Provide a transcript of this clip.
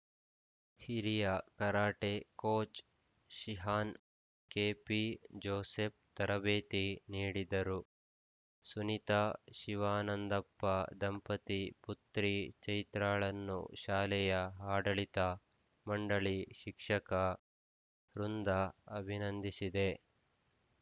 ಹಿರಿಯ karate coach shihan KP Joseph ತರಬೇತಿ ನೀಡಿದ್ದರು ಸುನಿತಾ ಶಿವಾನಂದಪ್ಪ ದಂಪತಿ ಪುತ್ರಿ ಚೈತ್ರಾಳನ್ನು ಶಾಲೆಯ ಆಡಳಿತ ಮಂಡಳಿ ಶಿಕ್ಷಕ ವೃಂದ ಅಭಿನಂದಿಸಿದೆ